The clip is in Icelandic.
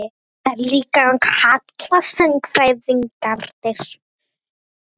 Þetta líkan kalla sagnfræðingarnir